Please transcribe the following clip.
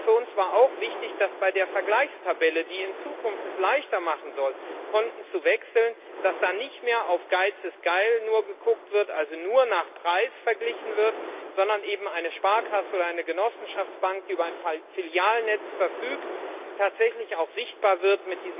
Für uns war auch wichtig, dass bei der Vergleichstabelle, die es in Zukunft leichter machen soll, Konten zu wechseln, nicht mehr nur auf Geiz ist Geil geguckt wird also nur nach Preis verglichen wird sondern eben eine Sparkasse oder eine Genossenschaftsbank, die über ein Filialnetz verfügt, mit diesem Angebot tatsächlich auch sichtbar wird.